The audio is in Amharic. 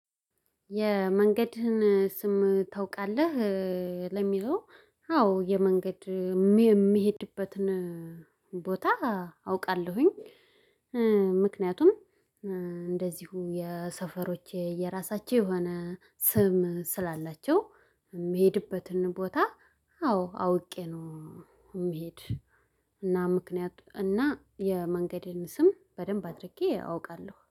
የመንገድህን ስም ታውቃለህ? ለሚለው አዎ የመንገድ የሚሄድበትን ቦታ አውቃለሁኝ። ምክንያቱም የሰፈሮቼ የራሳቸው የሆነ ስም ስላላቸው የምሄድበትን ቦታ አዎ አውቄ ነው። የምሄድ እና ምክንያቱም እና የመንገዴን ስም በደንብ አድርጌ አውቃለሁ